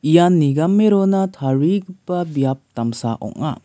ian nigame rona tarigipa biap damsa ong·a.